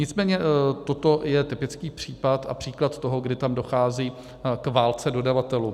Nicméně toto je typický případ a příklad toho, kdy tam dochází k válce dodavatelů.